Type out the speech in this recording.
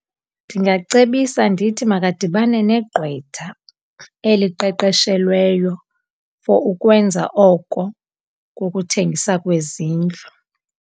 Ndingacebisa ndithi makadibane negqwetha eliqeqeshelweyo for ukwenza oko kokuthengisa kwezindlu.